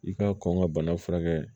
I ka kɔn ka bana furakɛ